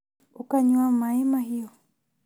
Ũkanyua maĩ mahiũ?